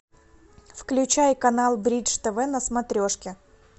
включай канал бридж тв на смотрешке